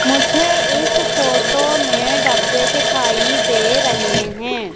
मुझे इस फोटो में डब्बे दिखाई दे रहे हैं।